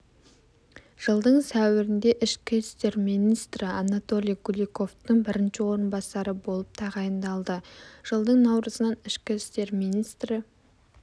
жылдың сәуірінде ішкі істер министрі анатолий куликовтың бірінші орынбасары болып тағайындалды жылдың наурызынан ішкі істер министрі